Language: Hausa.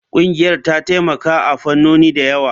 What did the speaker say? Ƙungiyar ta taimaka a fannoni da yawa.